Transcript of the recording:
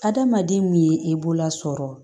Adamaden min ye e bololasɔrɔ